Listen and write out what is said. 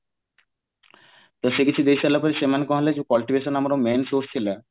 ତ ସେ କିଛି ଦେଇ ସାରିଲା ପରେ ସେମାନେ କଣ ହେଲା ଯୋଉ politication ଯୋଉ main source ଥିଲା